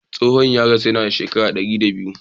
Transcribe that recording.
Tsohon ya rasu yana da shekara dari da biyu.